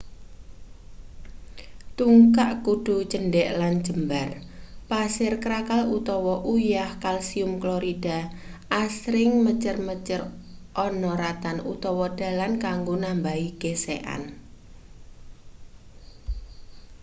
tungkak kudu cendhek lan jembar. pasir krakal utawa uyah kalsium klorida asring mecer-mecer ana ratan utawa dalan kanggo nambahi gesekan